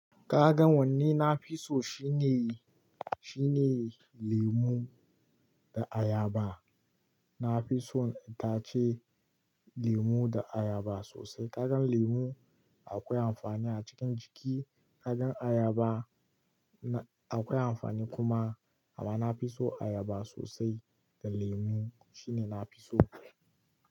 Ka gan wanne na fi so shine, shine lemu da ayaba. Na fi son itace lemu da ayaba sosai. Ka gan lemu akwai amfani a cikin jiki, ka gan ayaba na akwai amfani kuma. Amma na fi so ayaba sosai da lemu shine na fi so.